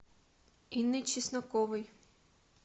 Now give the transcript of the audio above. инной чесноковой